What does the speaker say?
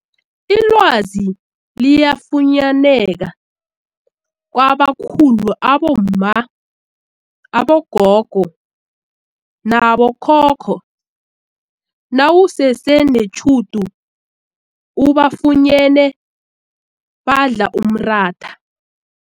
Ilwazi liyafunyaneka kwabakhulu abomma, abogogo nabo khokho nawusese netjhudu ubafunyene badla umratha.